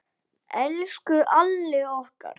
Elsku Alli okkar.